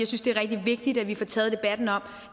synes det er rigtig vigtigt at vi får taget debatten om